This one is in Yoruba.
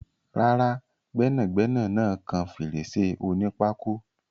Rárá, gbẹ́nàgbẹnà náà kan fèrèsé onípákó.